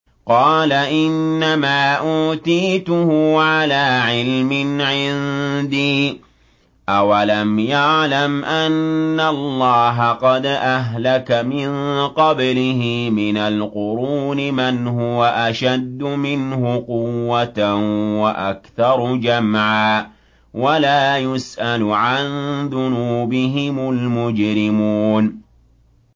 قَالَ إِنَّمَا أُوتِيتُهُ عَلَىٰ عِلْمٍ عِندِي ۚ أَوَلَمْ يَعْلَمْ أَنَّ اللَّهَ قَدْ أَهْلَكَ مِن قَبْلِهِ مِنَ الْقُرُونِ مَنْ هُوَ أَشَدُّ مِنْهُ قُوَّةً وَأَكْثَرُ جَمْعًا ۚ وَلَا يُسْأَلُ عَن ذُنُوبِهِمُ الْمُجْرِمُونَ